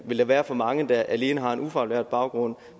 vil der være for mange der alene har en ufaglært baggrund